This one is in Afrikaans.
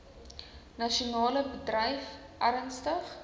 nasionale bedryf ernstig